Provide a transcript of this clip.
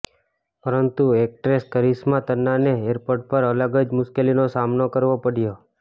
પરંતુ એક્ટ્રેસ કરિશ્મા તન્નાને એરપોર્ટ પર અલગ જ મુશ્કેલીનો સામનો કરવો પડ્યો